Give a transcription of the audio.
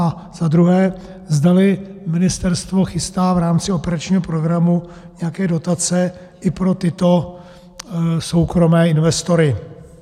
A za druhé, zdali ministerstvo chystá v rámci operačního programu nějaké dotace i pro tyto soukromé investory.